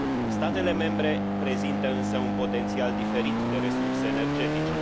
Statele membre prezintă însă un potențial diferit de resurse energetice.